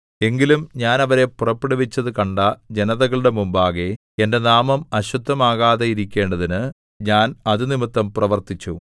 എങ്കിലും ഞാൻ അവരെ പുറപ്പെടുവിച്ചതു കണ്ട ജനതകളുടെ മുമ്പാകെ എന്റെ നാമം അശുദ്ധമാകാതെയിരിക്കേണ്ടതിന് ഞാൻ അത് നിമിത്തം പ്രവർത്തിച്ചു